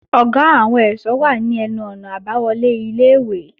Ọ̀gá àwọn ẹ̀ṣọ́ wà ní ẹnu-ọ̀nà àbáwọlé ilé-ìwé